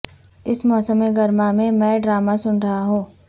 اس موسم گرما میں میں ڈرامہ سن رہا ہوں